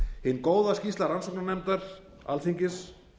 hin góða skýrsla rannsóknarnefndar alþingis